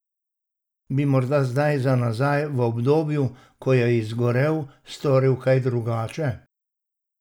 Bi morda zdaj za nazaj v obdobju, ko je izgorel, storil kaj drugače?